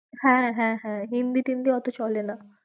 হ্যাঁ হ্যাঁ হ্যাঁ হিন্দি টিন্দি অত চলে না।